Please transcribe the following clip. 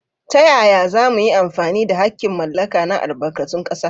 Ta yaya za mu yi amfani da haƙƙin mallaka na albarkatun ƙasa?